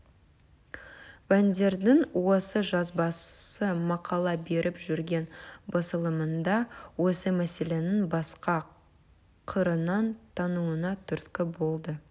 бандердің осы жазбасы мақала беріп жүрген басылымында осы мәселенің басқа қырынан тануына түрткі болды